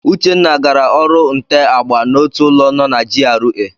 Uchenna gara ọrụ nte agba n'otu ụlọ no na GRA.